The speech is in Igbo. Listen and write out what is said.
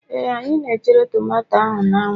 Ee, anyị na chere tomato ahụ n'anwu